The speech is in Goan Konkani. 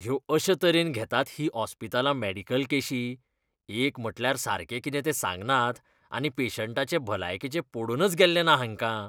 ह्यो अशे तरेन घेतात हीं ऑस्पितालां मॅडिकल केशी? एक म्हटल्यार सारकें कितें तें सांगनात, आनी पेशंटाचे भलायकेचें पडूनच गेल्लें ना हेंकां.